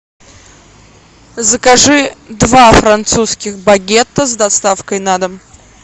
закажи два французских багета с доставкой на дом